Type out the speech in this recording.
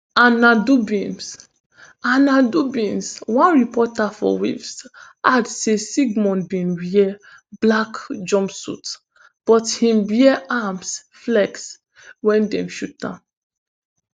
anna dobbins anna dobbins one reporter for waves add say sigmon bin wear black jump suit but im wear arms flex wen dem shoot am